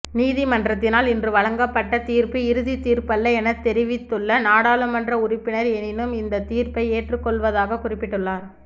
நீதிமன்றத்தினால் இன்று வழங்கப்பட்ட தீர்ப்பு இறுதி தீர்ப்பல்ல என தெரிவித்துள்ள நாடாளுமன்ற உறுப்பினர் எனினும் இந்த தீர்ப்பை ஏற்றுக்கொள்வதாக குறிப்பிட்டுள்ளார்